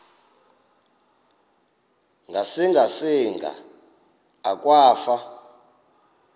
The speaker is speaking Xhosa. ngasinga singa akwafu